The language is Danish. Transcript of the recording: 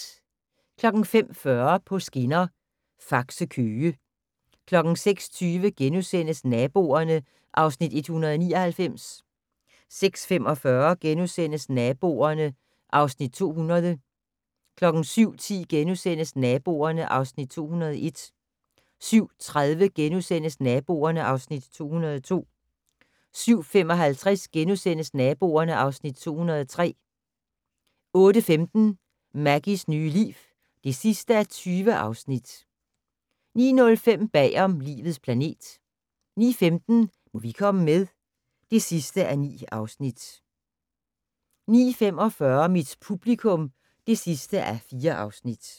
05:40: På skinner: Faxe-Køge 06:20: Naboerne (Afs. 199)* 06:45: Naboerne (Afs. 200)* 07:10: Naboerne (Afs. 201)* 07:30: Naboerne (Afs. 202)* 07:55: Naboerne (Afs. 203)* 08:15: Maggies nye liv (20:20) 09:05: Bagom "Livets planet" 09:15: Må vi komme med? (9:9) 09:45: Mit publikum (4:4)